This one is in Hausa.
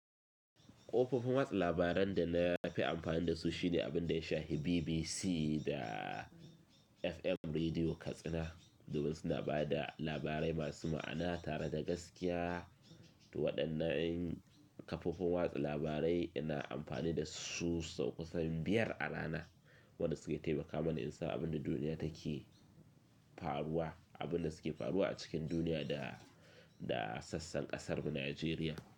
Kofofin watsa labaran da na fi amfani da su shine abin da ya shafi BBC da FM Rediyo Katsina. Domin suna ba da labarai masu ma'ana tare da gaskiya. To waɗannan kafofin watsa labarai ina amfani da su sau kusan biyar a rana, waɗanda suke taimaka mana in san abin da duniya take faruwa, abin da suke faruwa a cikin duniya da, da sassan ƙasarmu Nijeriya.